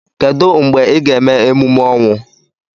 Kedu mgbe ị ga-eme emume ọnwụ?